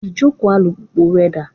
Ìjókòó alùpùpù rẹ dà?